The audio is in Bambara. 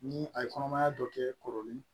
Ni a ye kɔnɔmaya dɔ kɛ kɔrɔlen ye